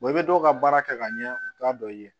i bɛ dɔw ka baara kɛ ka ɲɛ u t'a dɔn i ye